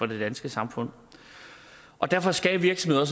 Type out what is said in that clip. det danske samfund og derfor skal virksomheder